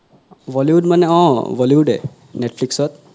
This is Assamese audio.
Bollywood মানে অহ Bollywood এ Netflix ত